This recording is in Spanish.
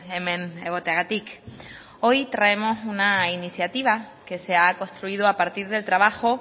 hemen egoteagatik hoy traemos una iniciativa que se ha construido a partir del trabajo